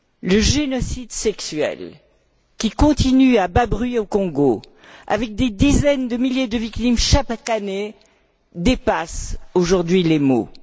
Le génocide sexuel qui continue à bas bruit au Congo, avec des dizaines de milliers de victimes chaque année, dépasse aujourd'hui les mots.